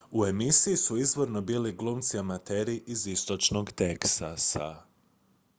u emisiji su izvorno bili glumci amateri iz istočnog teksasa